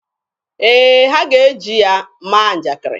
Ee, ha ga-eji ya maa njakiri.